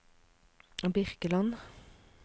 Birkeland